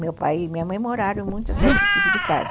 Meu pai e minha mãe moraram em muitos desse tipo de casa.